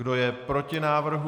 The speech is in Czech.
Kdo je proti návrhu?